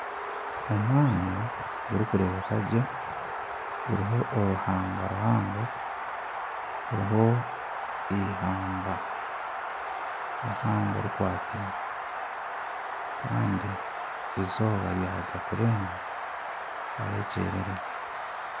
Omwanya gurikurebekagye guriho oruhanga ruhango guriho eihamba rihango rikwateine Kandi eizooba ryaruga kurenga hariho ekyererezi.